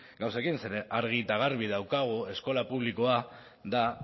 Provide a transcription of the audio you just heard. gauzekin zeren argi eta garbi daukagu eskola publikoa da